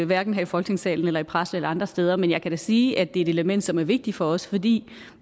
hverken her i folketingssalen eller i pressen eller andre steder men jeg kan da sige at det er et element som er vigtigt for os fordi